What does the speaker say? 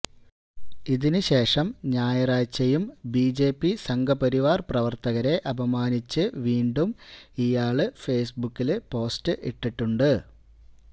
ഇതിന് ശേഷം ഞായറാഴ്ചയും ബിജെപി സംഘപരിവാര് പ്രവര്ത്തകരെ അപമാനിച്ച് വീണ്ടും ഇയാള് ഫേസ്ബുക്കില് പോസ്റ്റ് ഇട്ടിട്ടുണ്ട്